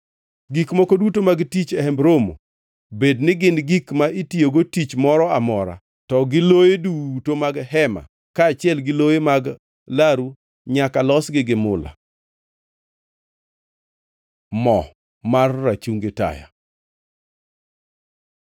Gik moko duto mag tich e Hemb Romo, bed ni gin gik ma itiyogo tich moro amora, to gi loye duto mag hema kaachiel gi loye mag laru nyaka losgi gi mula. Mo mar rachungi taya